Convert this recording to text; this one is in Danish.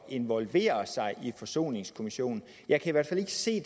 involvere sig i forsoningskommissionen jeg kan i hvert fald ikke se